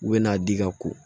U bɛ n'a di ka ko